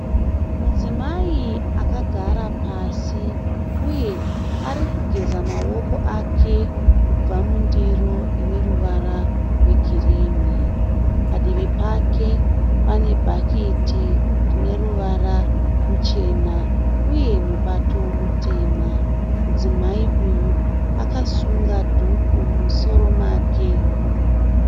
Mudzimai akagara pasi uye arikugeza maoko ake kubva mundiro ineruvara rwegirini. Padivi pake pane bhaketi rine ruvara ruchena uye mubato mutema. Mudzimai uyu akasunga dhuku mumusoro make.